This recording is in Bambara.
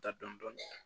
Taa dɔni dɔni